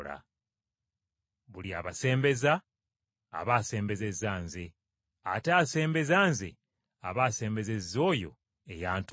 “Buli abasembeza, aba asembezezza Nze, ate asembeza Nze aba asembezezza oyo eyantuma.